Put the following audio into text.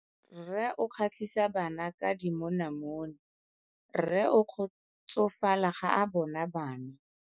Rre o kgatlhisa bana ka dimonamone. Rre o kgotsofala ga a bona bana.